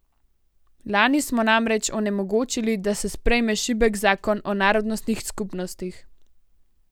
Lani smo namreč onemogočili, da se sprejme šibek zakon o narodnostnih skupnostih.